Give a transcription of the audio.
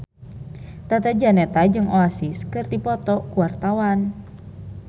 Tata Janeta jeung Oasis keur dipoto ku wartawan